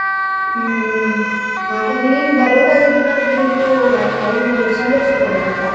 ಹ್ಮ್ ಹ್ಮ್. ಹಾಗಾಗ್ ನೀನ್ ಬರೋದ್ ಆಗಿದ್ರೆ ನನ್ಗೆ ಒಂದು ಆ ಇದು ಸಂದೇಶ ಕೊಡು, ಆಯ್ತಾ?